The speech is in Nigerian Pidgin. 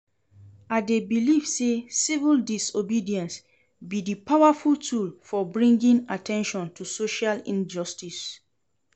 I dey believe say civil disobedience be di powerful tool for bringing at ten tion to social injustices.